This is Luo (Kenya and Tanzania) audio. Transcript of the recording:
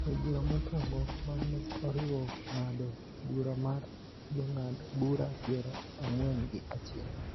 E bura mokwongo, ma ne oriwo ng�ado bura mar Jong'ad bura piero ang'wen gi achiel,